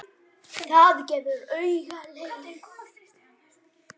Það gefur auga leið.